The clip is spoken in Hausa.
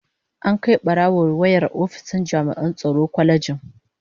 An Kai barawon wayar ofishin jami'an tsaron kwalejin